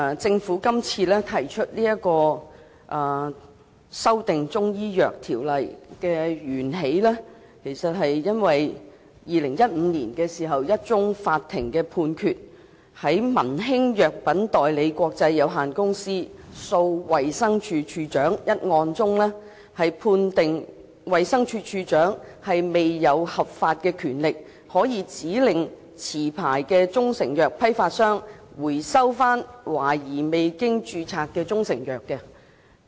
政府今次提出修訂其實是源自2015年的一宗法庭判決，在民興藥品代理國際有限公司訴衞生署署長一案中，法庭判決衞生署署長並無合法權力可以指令持牌中成藥批發商回收懷疑未經註冊的中成藥。